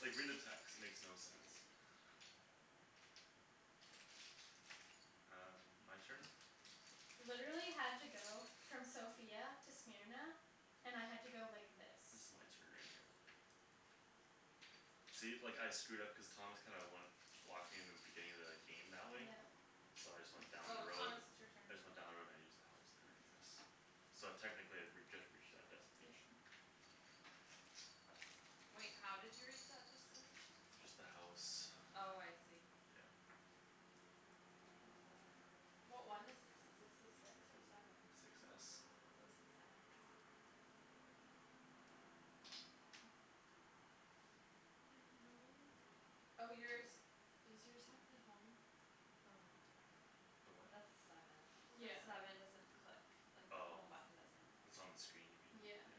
Like read the text. It makes no sense. Um, my turn? Literally had to go from Sofia to Smyrna, and I had to go like this. This is my turn right here. See, like I screwed up cuz Thomas kinda went Blocked me in the beginning of the game that way. Yeah. So I just went down the Oh, road. Thomas it's your turn. I just went down the road and I used the house there I guess. So technically I re- I just reached that Yeah. destination. Wait, how did you reach that destination? Just the house. Oh, I see. Yeah. What one is this? Is this the six or seven? Six s. Oh, six s There are no ho- Oh, yours, does yours have the home? Oh, no, never The mind. what? That's the seven. The Yeah. seven doesn't click like the Oh, home button, doesn't click, it's on the screen you mean? yeah. Yeah. Yeah.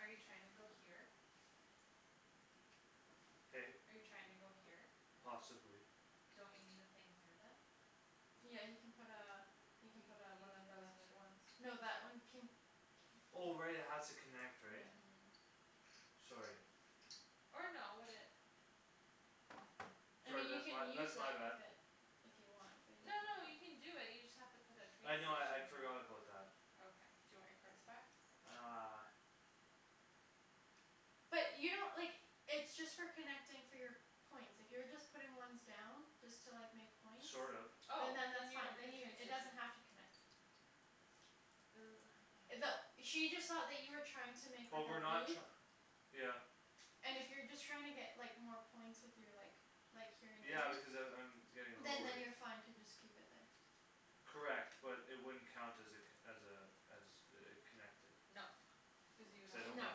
Are you trying to go here? Hey? Are you trying to go here? Possibly. Don't you need a thing here then? Yeah, he can put uh You He can put a one of you need another those Oh, right, it has to connect, right? Mhm. Yeah. Sorry. Or no would it I Sorry, mean you that's my can use that's my that bad. if it If you want but you No, don't no, have you to can do it, you just have to put a train I know I I'd station here forgot about that. Okay, do you want your cards back? Uh. But you don't, like, it's just for connecting for your points. If you're just putting ones down, just to like make points. Sort of. Oh, And then then that's you fine. don't need a train It does station not have to connect. That she just saw that you were trying to make But up a we're not loop. tr- Yeah. And if you're just trying to get like more points with your like Like here Yeah in because a I'm I'm route. Getting Then low, right? then you're fine to just keep it there. Correct but it wouldn't count as a co- as a As a a connected No, cuz you would Cuz I have to don't put No. a have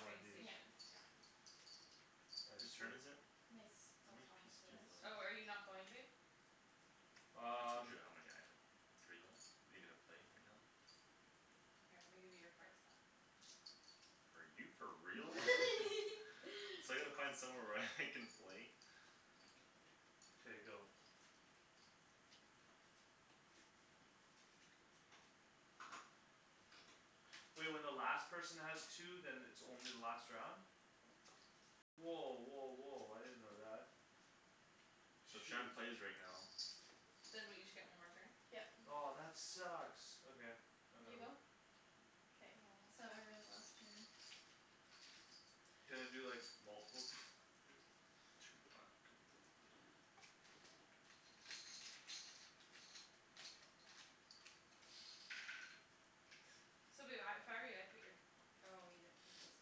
one of train these. Yeah. station yeah Whose turn is it? It's How still many Thomas' pieces do you have left? Oh, are you not going babe? I told Um. you how many I have. You have three left? Are you gonna play right now? Here I'm gonna give you your cards back Are you for real? So I gotta find somewhere where I can play K, go. Wait, when the last person has two then it's only the last round? Yeah. Woah, woah, woah, I didn't know that. So Shoot. Shand plays right now. Then we each get one more turn? Yep. Oh, that sucks, okay. I got You go? one. Yeah. Aw. Can I do like multiple th- things? Two black. So babe I if I were you I'd put your Oh, you didn't put those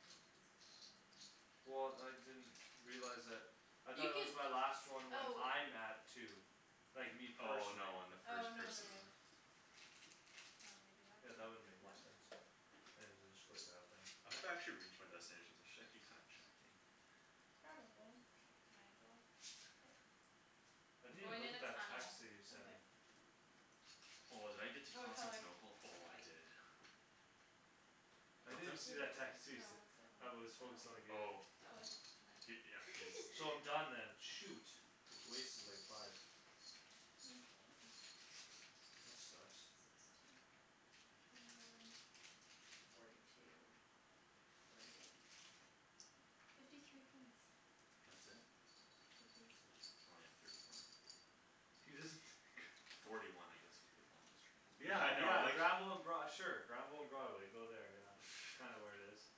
pil- pieces down there, never mind Well, I didn't realize that. I thought it was my You last one when can, I'm at two. oh Like me Oh, Oh, no, no, personally. no, when the first person no. How many do you have? Yeah, Two? that wouldn't make One. any sense. One. I'll just go like that then. I hope I actually reach my destinations. I should actually kinda check eh? Probably. Okay, can I go? Yeah. I I'm didn't even going look in at a that text tunnel that you sent me. Okay. Oh, did I get to What color? Constantinople? Oh, I White. did. I What's didn't that? even see that text you No, sent. what's that one? I was focused on the game. Oh. Okay. He, yeah, he's So I'm done then. shoot. Wasted like five. Okay. That sucks. Sixteen, twenty one, forty two Forty eight Fifty three points That's it? I think so. Only have thirty one Forty one I guess with the longest train. Yeah, Yeah, I know yeah, like Granville and Broad- sure Granville and Broadway, go there, yeah. Kinda where it is.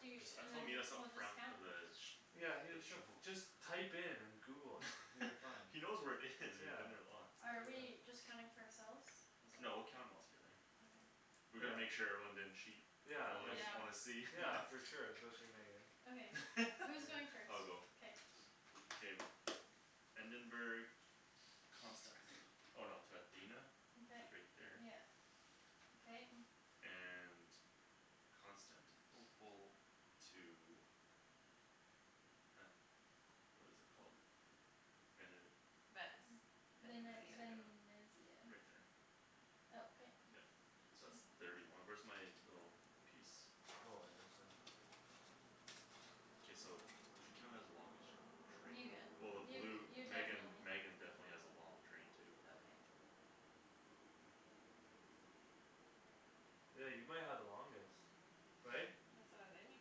I jus- I told meet us up front the village Yeah, he That show shuf- just Type in and google it Until you find He knows where it is. We've Yeah. been there lots. Are we just counting for ourselves? No, we'll count 'em all together Okay. We Yeah. gotta make sure everyone didn't cheat. Y'know Yeah, I wanna like I Yeah. wanna see Yeah, for sure, especially Megan. I'll go. K. Endenburg Constanti- oh no to Athena Which Okay is right there. yeah okay And Constantinople To a What is it called? Vene- Venice Vene- Venezia Venezia, Venesia right there Okay. Yup. So that's thirty one. Where's my little piece? Oh, I didn't see that. K, we should count it as the longest You Train get well the you blue you Megan definitely Megan definitely has a long train too Okay. Yeah, you might have the longest right? That's what I was aiming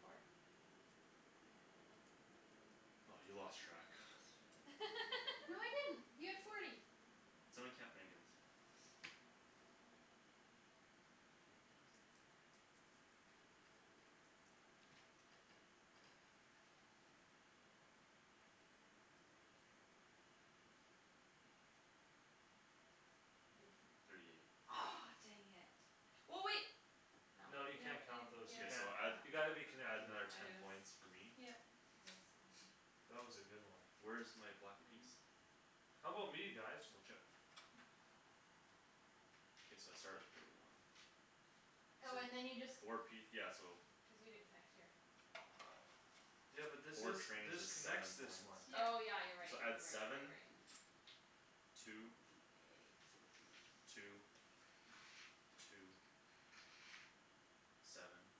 for. By you lost track No, I didn't. You have forty. Somebody count Megan's One, Four, two, three five, six Four, five, six, seven, eight, nine, ten, eleven, twelve, thirteen, fourteen, fifteen, sixteen, seventeen, eighteen, nineteen, twenty Twenty one, twenty two Thirty two Thirty eight Aw, dang it Well, wait No. No, No, you in yeah, can't count those, you K, can't. so add You Yeah. gotta be yeah add connected. another ten points for me. Yep. This one. That was a good one. Where's my black piece? How 'bout me guys? Blue chip. K, so I start at forty one. Oh, So, and then you just four piec- yeah so Cuz you didn't connect here Yeah. but this Four is trains this is connects seven this points one. Oh, Yeah. yeah, you're right, So you're add right, you're right, you're seven right. Two Forty eight, fifty Two Two Seven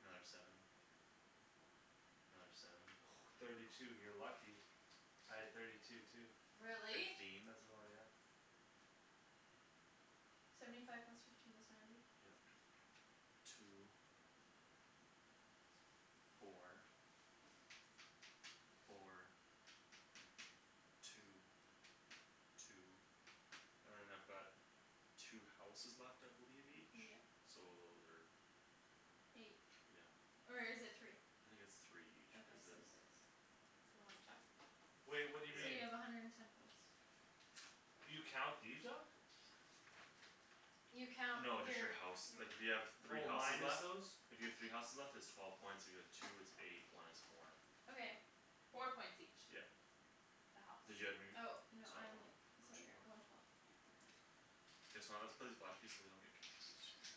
Another seven Another seven Thirty two. You're lucky. Three, I had thirty four, five two too. Really? Really? Fifteen As well, yeah. Seventy five plus fifteen is ninety Yeah. Two Four Four Two, two And then I've got Two houses left I believe each, Yeah. so those are Eight, Yeah. or is it three? I think it's three each Okay, cuz the so six Do you wanna check? Wait, what So do you mean? you Yeah. have a hundred and ten points. Okay. You count these up? You count No, you're, just the house. Like if you have yeah three Oh houses minus left those? If you have three houses left it's twelve points, if you have like two it's eight, one is four. Okay. Four Four points points each each. Yep. The house. So one more? Or two more? Okay K, so I'm gonna have to put these black piece away so you don't get confused right here.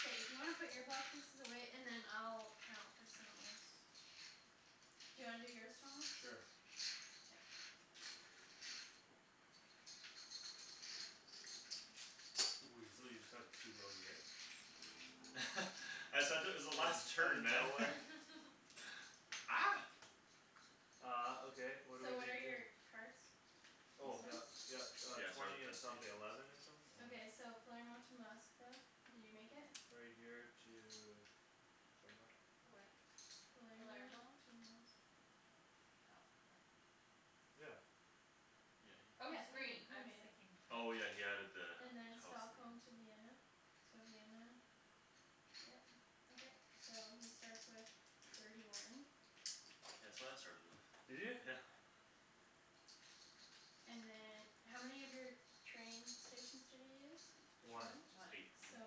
K. If you wanna put your block pieces away, and then I'll count for someone else. Do you wanna do yours, Thomas? Sure. Yeah. Weasel, you just have two out here? I said it was the Out last outta turn, man. nowhere Ah. Uh, okay, what what are So we what are gonna do? your cards? These Oh, yup. ones? Yup, uh, Yeah, start with twenty and something destinations. eleven or something? I don't Okay, so know. Palermo to Moskva, did you make it? Right here to Somewhere Where? Palermo Palermo? to Moskva Oh, no. Yeah. Yeah, he Oh, Oh, made he's he's it. green green. I I was mean. thinking blu- Oh, yeah, he had added the And then house there. Stockholm to Vienna, so Vienna Yeah. Okay. So he starts with thirty one Yeah, that's what I started with, Did you? yeah And then How many of your train stations did you use? One. Just One. eight So. points.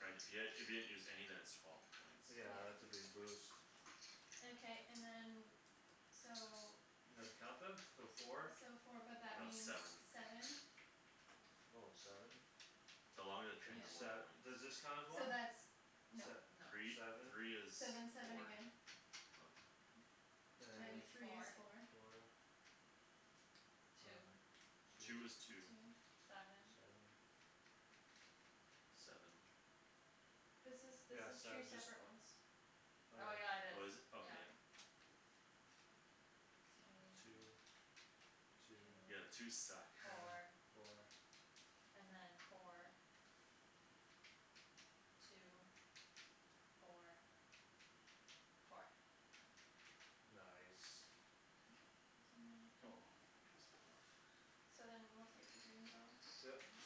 Right if you had if you hadn't used any then it's twelve points Yeah, that's a big boost. Okay, and then so You know how to count them? So four? So four but that That's means seven seven Oh, seven? The longer the train Then the Yeah. more sev- points. does this count as So one? that's No. Se- No. Three, seven three is So then seven four again Okay. And Three is is four four. Four Two Uh, Two two. is two Two Seven Seven Seven This is, this Yeah, is seven two just separate ones. Oh, Oh, yeah yeah, it is, Oh, is it? Okay, yeah yeah. Two Two Two Two Two Yeah, twos suck Four, Four four. And then four Two, four Four Nice. Okay, so ninety two. Oh, my piece fell off. So then we'll take the green Yeah. Mhm.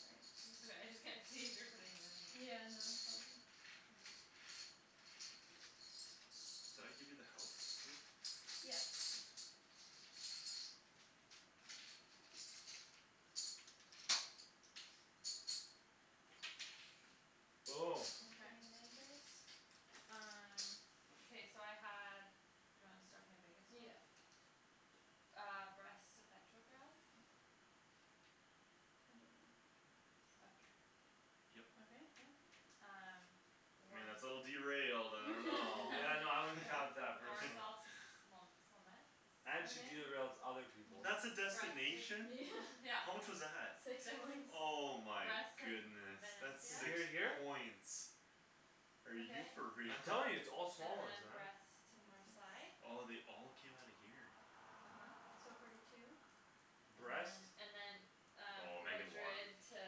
Sorry. It's all right. I just can't see if you're putting them in or not. Yeah, no Did I give you the house too? Yeah. Okay. Okay, Okay. Memphis. Um. Okay, so I had Do you want to start with my biggest Yeah. one? Ah, Brest to Petrograd I don't know where Petrograd is. Up here. Okay, Yup. yep. Um. I mean War- that's a little derailed. I don't know Yeah, no I wouldn't War- count that personally. Warsaw to And she Okay. derails other people. That's a Twenty six destination? Yeah. Yeah How much was that? Six Six Oh my Brest to V- goodness. Venice, That's To yeah. six here here? points. Are you Okay. for real? I'm telling you, it's all And small ones then then. Brest to Twenty six Marsail Oh, they all came outta here? uh-huh. So forty two. And then Brest. and then Um, Oh, Megan won. Madrid to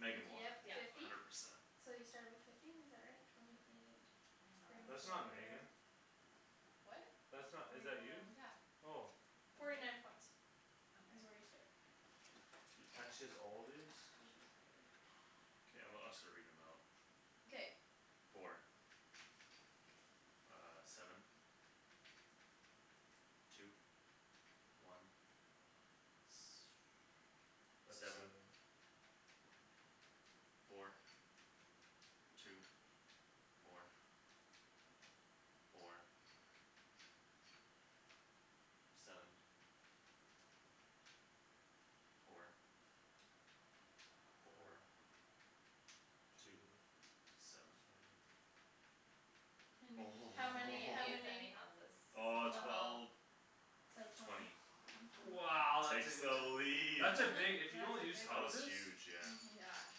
Di- won Dieppe Yeah. fifty hundred percent. So you started with fifty is that right? Twenty, twenty eight That's not Megan. What? That's not? Twenty Is one that you? Yeah. Oh. Forty night points T- is where okay you started Blue blue And she's chips all these? Okay, I'm gonna I'll start reading them out Okay. Four. Ah, seven, two, one That's Seven, seven. four, two, four, four Seven, four, Four four, two, Two seven Seven How I many? How didn't use many? any houses Oh, so twelve twelve So twenty Twenty One twenty Wow. Takes the lead. That's a big if you don't use That was houses huge, yeah. uh-huh. Yeah.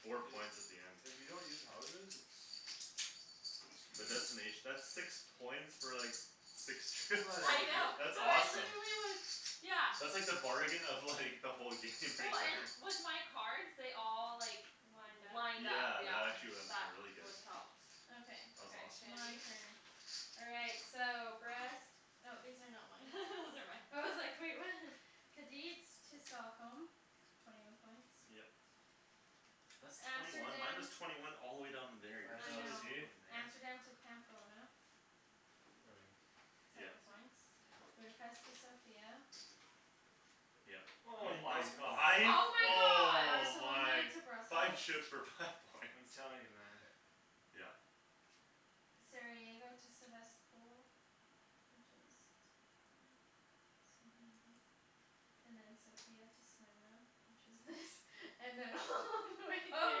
Four points at the end If you don't use houses it's The It's huge. destination that's six points for like Six trip. Yeah, I know, That's no, awesome. literally it was, yeah That's like the bargain of like the whole game Oh, and with my cards they all like Lined up Lined up, Yeah, that yeah actually wen- That really good what helps Okay, That was Okay, awesome. my Shandy. turn. All right, so Brest Oh, these are not mine Those are mine. I was like, "Wait, what?" Kadeets to Stockholm Twenty one points Yep. That's twenty one Amsterdam Minus twenty one all the way down in there I I know, know. see? Amsterdam to Pamplona Here we are. Seven Yep, points yeah. Budapest to Sofia Yeah Hol- Oh that my was points god. five, Oh my god. oh Barcelona my Five to shooks Brussels for five points I'm telling you, man. Yeah. Sarajevo to Sevastpol Which is hmm Sarajevo And then Sofia to Smyrna Which is this And then all the way Oh,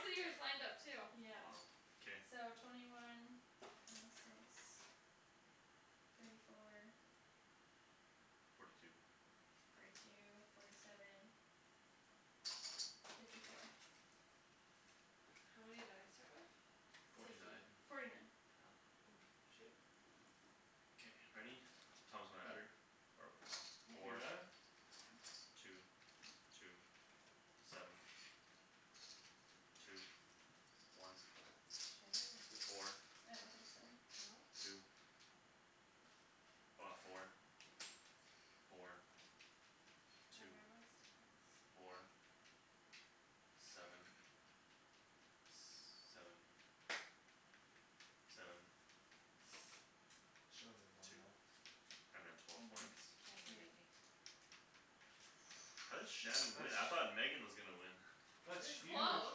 so yours lined up too? Wow, Yeah. k. So twenty one Twenty six Thirty four Forty two Forty two, forty seven Fifty four How many did I start with? Forty nine Forty nine Okay. Oh, shoot. K, ready? Thomas, wanna add her? Or whatever. Yeah. You Four got it? Two, two, seven, two, one, Shandy might beat me four, I don't think so. No? two Ah, four, four, Do I have two, everyone's tickets? four, seven, s- seven, seven She only have one Two left. And then twelve points Mhm. Shandon beat Yeah. me How did Shan That's win? I thought Megan was gonna win. It That's was huge. I close.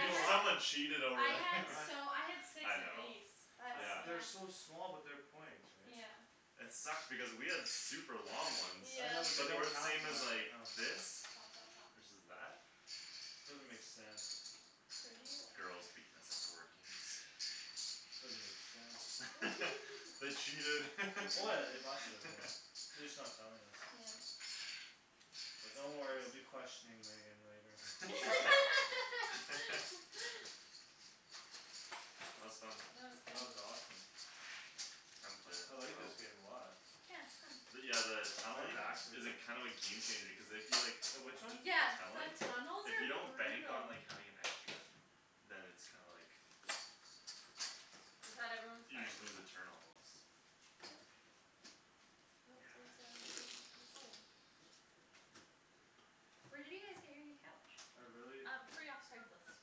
You know had what? someone cheated I over had here He- I so I had six I of know these. That's yeah I've they're yeah so small but they're points right? Yeah. It sucked because we had super long ones I know but they But Yeah. they don't were the count as same much, as I like know. this Stop, stop, stop. Versus that Doesn't make sense. Thirty one Girls beating us at board games. Doesn't make sense. They cheated. Oh, yeah, they must have, yeah. They just not telling us. Yeah. That's Don't worry I'll hilarious. be questioning Megan later. That was fun. That That was good. was awesome. I haven't played that I in a like this while. game a lot. Yeah, But it's fun. yeah the My Tunneling back's like is a kinda of a game changer cuz if you like The which one? T- Yeah, tunneling the tunnels If you are don't bank on brutal. like having an extra Then it's kinda like Is that everyone's You cards? just lose a turn almost Nope, there's a there's Yeah. a this Oh. Where did you guys get your new couch? I really Um, free off Craigslist.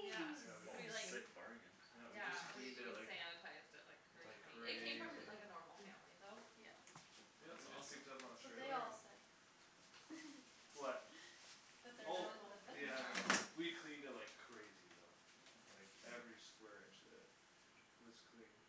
Yeah. Yeah, Nice. we c- Oh, We like sick bargain. Yeah, we just Yeah, we cleaned it we like sanitized it like Like crazy. It came crazy from like a normal family though. Yeah. Yeah, That's we just awesome. picked up on trailer. Yeah. What? That they're That Oh, that normal. that they're yeah, I know. normal. We cleaned it like crazy though. Like Yeah. Yeah. every square inch, uh Was cleaned.